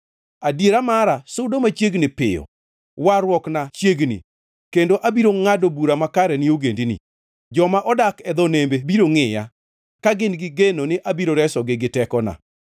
Adiera mara sudo machiegni piyo, warruokna chiegni, kendo abiro ngʼado bura makare ne ogendini. Joma odak e dho nembe biro ngʼiya ka gin gi geno ni abiro resogi gi tekona.